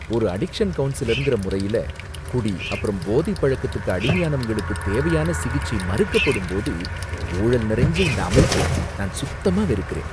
ஒரு அடிக்ஷன் கவுன்சிலர்ன்ற முறையில, குடி அப்பறம் போதைபழக்கத்துக்கு அடிமையானவங்களுக்கு தேவையான சிகிச்சை மறுக்கப்படும்போது ஊழல் நிறைஞ்ச இந்த அமைப்பை நான் சுத்தமா வெறுக்கிறேன்.